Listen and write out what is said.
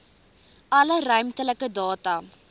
alle ruimtelike data